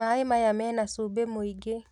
Mai maya mena cumbĩ mũingĩ